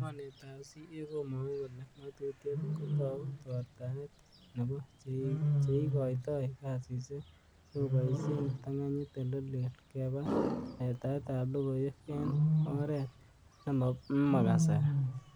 Mornetab CA komongu kole ngatutiet kotou tortaet nebo cheikoitoi kasisiek sikeboishen kiptarnganyitab ele leel keba letaet ab logoiwek en oret nemokasari.